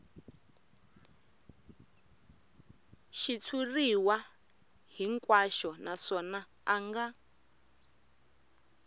xitshuriwa hinkwaxo naswona a nga